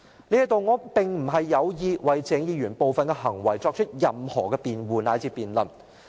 這裏我並非有意為鄭議員的部分行為作出任何辯護乃至辯論。